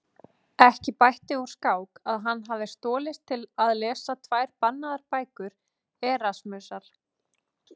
Ekki bætti úr skák að hann hafði stolist til að lesa tvær bannaðar bækur Erasmusar.